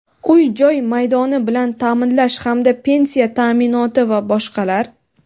uy-joy maydoni bilan ta’minlash hamda pensiya ta’minoti va boshqalar.